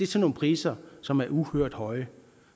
til nogle priser som er uhørt høje